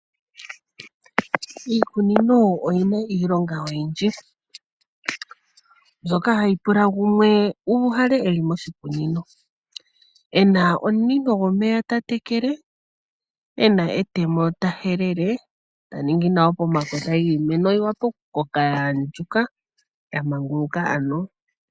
Iikunino oyina iilonga oyindji mbyoka hayi pula gumwe uuhale eli moshikunino ena omunino gomeya tatekele, ena etemo tahelele taningi nawa pomakota giimeno yiwape okukoka yaandjuka yamanguluka ano.